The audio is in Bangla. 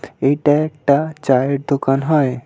এইটা একটা চায়ের দোকান হয়।